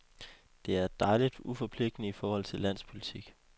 Det er dejligt uforpligtende i forhold til landspolitik.